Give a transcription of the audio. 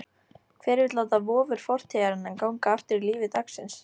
Hver vill láta vofur fortíðarinnar ganga aftur í lífi dagsins?